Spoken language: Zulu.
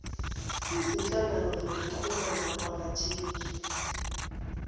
izinhlangano zokuxhumana kwabathengi